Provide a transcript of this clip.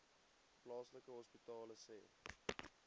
plaaslike hospitale sê